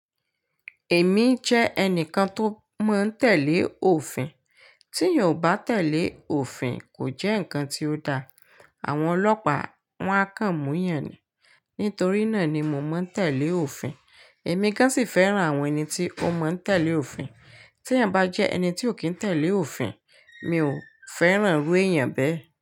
Èmi jẹ́ ẹnìkan tó máa ń tẹ̀lé òfin. Tí èèyàn ò bá tẹ̀lé òfin, kò jẹ́ nǹkan tí ó da. Àwọn ọlọ́pà wa kàn mú yan ni. Nítorí náà ni mo máa ń tẹ̀lé òfin. Èmi gán sì fẹ́ràn àwọn ẹni tí ó máa ń tẹ̀lé òfin. Tí èèyàn bá jẹ́ ẹni tí ò kí ń tẹ̀lé òfin, mi ò fẹ́ràn irú èèyàn bẹ́ẹ̀